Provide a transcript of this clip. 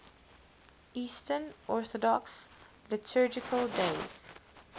eastern orthodox liturgical days